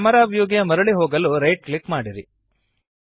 camera ವ್ಯೂಗೆ ಮರಳಿ ಹೋಗಲು ರೈಟ್ ಕ್ಲಿಕ್ ಮಾಡಿರಿ